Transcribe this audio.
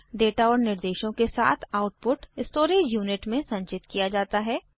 फिर डेटा और निर्देशों के साथ आउटपुट स्टोरेज यूनिट में संचित किया जाता है